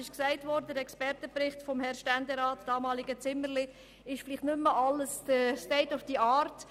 Wie gesagt wurde, entspricht der Expertenbericht des damaligen Ständerats Zimmerli heute vielleicht nicht mehr gerade dem State of the art.